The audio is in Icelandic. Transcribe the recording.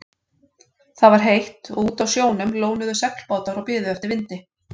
Það var heitt og úti á sjónum lónuðu seglbátar og biðu eftir vindi.